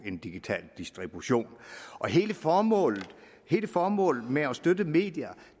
en digital distribution hele formålet hele formålet med at støtte medier